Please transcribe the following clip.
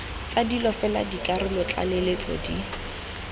tsa dilo fela dikarolotlaleletso di